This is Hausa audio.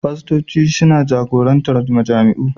Fastoci suna jagorantar majami'u